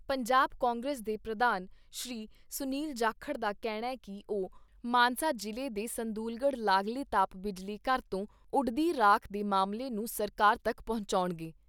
ਪੰਜਾਬ ਕਾਂਗਰਸ ਦੇ ਪ੍ਰਧਾਨ ਸ਼੍ਰੀ ਸੁਨੀਲ ਜਾਖੜ ਦਾ ਕਹਿਣੈ ਕਿ ਉਹ ਮਾਨਸਾ ਜਿਲ੍ਹੇ ਦੇ ਸੰਦੂਲਗੜ੍ਹ ਲਾਗਲੇ ਤਾਪ ਬਿਜਲੀ ਘਰ ਤੋਂ ਉੱਡਦੀ ਰਾਖ ਦੇ ਮਾਮਲੇ ਨੂੰ ਸਰਕਾਰ ਤੱਕ ਪਹੁੰਚਾਉਣਗੇ।